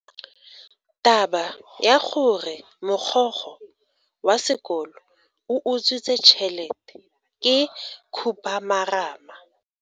Taba ya gore mogokgo wa sekolo o utswitse tšhelete ke khupamarama.